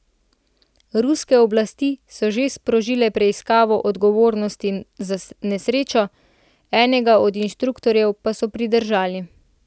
Ruske oblasti so že sprožile preiskavo odgovornosti za nesrečo, enega od inštruktorjev pa so pridržali.